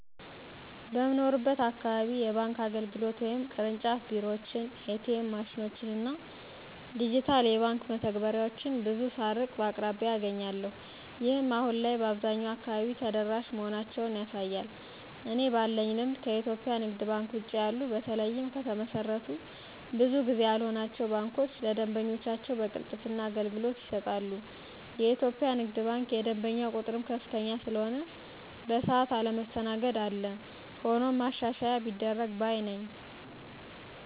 በምኖርበት አካባቢ የባንክ አገልግሎት (ቅርንጫፍ ቢሮዎችን፣ ኤ.ቲ.ኤም ማሽኖችን እና ዲጂታል የባንክ መተግበሪያዎችን ) ብዙ ሳልርቅ በአቅራቢያየ አገኛለሁ። ይህም አሁን ላይ በአብዛኛው አካባቢ ተደራሽ መሆናቸውን ያሳያል። እኔ ባለኝ ልምድ ከኢትዮጵያ ንግድ ባንክ ውጭ ያሉት በተለይም ከተመሰረቱ ብዙ ጊዜ ያልሆናቸው ባንኮች ለደንበኞቻቸው በቅልጥፍና አገልግሎት ይሰጣሉ። የኢትዮጵያ ንግድ ባንክ የደንበኛው ቁጥርም ከፍተኛ ስለሆነ በሰዓት አለመስተናገድ አለ። ሆኖም ማሻሻያ ቢደረግ ባይ ነኝ።